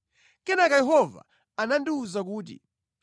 Kenaka Yehova anandiwuza kuti,